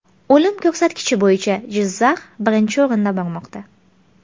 O‘lim ko‘rsatkichi bo‘yicha Jizzax birinchi o‘rinda bormoqda.